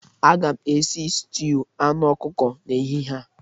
Aga m esi stuụ anụ ọkụkọ n'ehihie a.